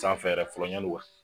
Sanfɛ yɛrɛ fɔlɔ yann'u ka